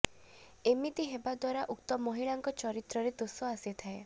ଏମିତି ହେବା ଦ୍ୱାରା ଉକ୍ତ ମହିଳାଙ୍କ ଚରିତ୍ରରେ ଦୋଷ ଆସିଥାଏ